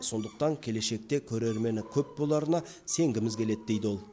сондықтан келешекте көрермені көп боларына сенгізіміз келеді дейді ол